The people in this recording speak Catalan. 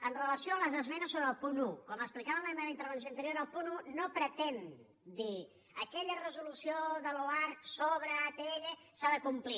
amb relació a les esmenes sobre el punt un com explicava en la meva intervenció anterior el punt un no pretén dir aquella resolució de l’oarcc sobre atll s’ha de complir